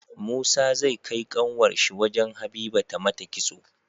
Musa zai kai kanwar shi wajan habiba ta mata kitso